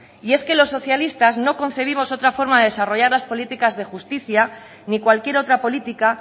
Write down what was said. y es que los socialistas no concebimos otra forma de desarrollar las políticas de justicia ni cualquier otra política